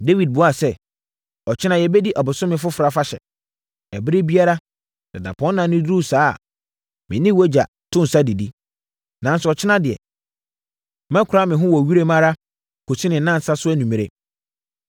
Dawid buaa sɛ, “Ɔkyena yɛbɛdi Ɔbosome Foforɔ Afahyɛ. Ɛberɛ biara, sɛ dapɔnna no duru saa a, me ne wʼagya to nsa didi. Nanso, ɔkyena deɛ, mɛkora me ho wɔ wiram ara kɔsi ne nnansa so anwummerɛ.